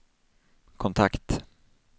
kontakt